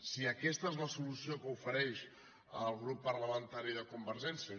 si aquesta és la solució que ofereix el grup parlamentari de convergència